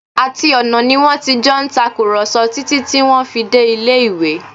Àti ọ̀nà ni wọ́n ti jọ ń tàkùrọ̀sọ títí tí wọ́n fi dé ilé-ìwé